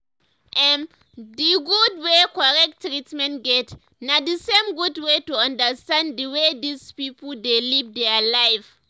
ermm d gud wey correct treatment get na d same gud wey to understand d way dis pipo dey live their life.